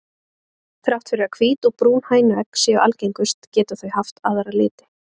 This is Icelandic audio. Þrátt fyrir að hvít og brún hænuegg séu algengust geta þau haft aðra liti.